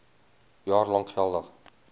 jaar lank geldig